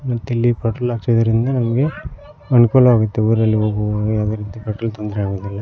ಮತ್ತಿಲ್ಲಿ ಪೆಟ್ರೋಲ್ ಹಾಕ್ಸುವುದರಿಂದ ಅನುಕೂಲ ಆಗುತ್ತೆ ಊರಲ್ಲಿ ಹೋಗುವಾಗ ಯಾವುದೇ ರೀತಿ ಅಡ್ಡಿ ತೊಂದರೆಯಾಗುವುದಿಲ್ಲ.